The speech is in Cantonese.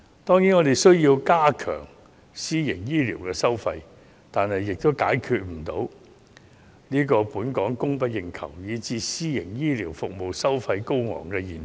當然，我們需要加強監管私營醫療的收費，但這也解決不了香港供不應求以至私營醫療服務收費高昂的現象。